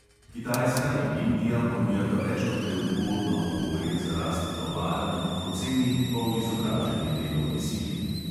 Kitajska in indija ponujata več kot le ugodno okolje za rast tovarn ob poceni polizobraženi delovni sili.